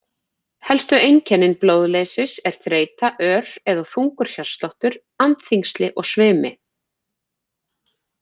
Helstu einkennin blóðleysis eru þreyta, ör eða þungur hjartsláttur, andþyngsli og svimi.